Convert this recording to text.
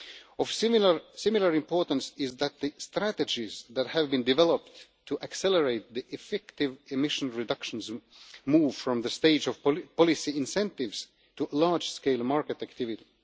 Of similar importance is that the strategies that have been developed to accelerate the effective emission reductions move from the stage of policy incentives to large scale market activity.